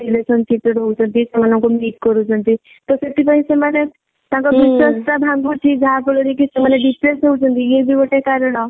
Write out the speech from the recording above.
relationship ରେ ରହୁଛନ୍ତି ସେମାନଙ୍କୁ meet କରୁଛନ୍ତି ତ ସେଥିପାଇଁ ସେମାନେ ତାଙ୍କ ବିଶ୍ବାସ ଟା ଭଙ୍ଗୁଛି ଯାହା ଫଳ ରେ କି ସେମାନେ depress ହଉଛନ୍ତି ଇଏ ବି ଗୋଟେ କାରଣ